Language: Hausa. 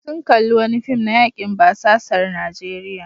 Sun kalli wani fim na yakin basasar Najeriya.